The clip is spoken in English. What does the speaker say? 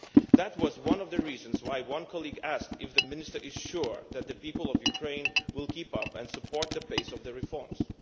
That was one reason why a colleague asked if the Minister is sure that the people of Ukraine will keep up with and support the pace of the reforms.